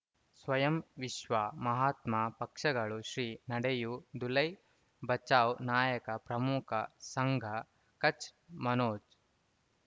ಸ್ವಯಂ ವಿಶ್ವ ಮಹಾತ್ಮ ಪಕ್ಷಗಳು ಶ್ರೀ ನಡೆಯೂ ದುಲೈ ಬಚೌ ನಾಯಕ ಪ್ರಮುಖ ಸಂಘ ಕಚ್ ಮನೋಜ್